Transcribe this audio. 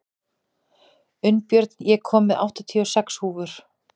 Unnbjörn, ég kom með áttatíu og sex húfur!